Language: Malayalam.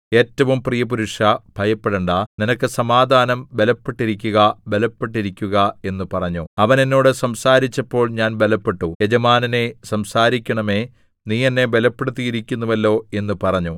ഏറ്റവും പ്രിയപുരുഷാ ഭയപ്പെടേണ്ടാ നിനക്ക് സമാധാനം ബലപ്പെട്ടിരിക്കുക ബലപ്പെട്ടിരിക്കുക എന്ന് പറഞ്ഞു അവൻ എന്നോട് സംസാരിച്ചപ്പോൾ ഞാൻ ബലപ്പെട്ടു യജമാനനേ സംസാരിക്കണമേ നീ എന്നെ ബലപ്പെടുത്തിയിരിക്കുന്നുവല്ലോ എന്ന് പറഞ്ഞു